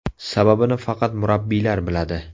Sababini faqat murabbiylar biladi.